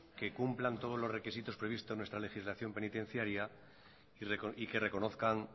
que cumplan todos los requisitos previstos en nuestra legislación penitenciaria y que reconozcan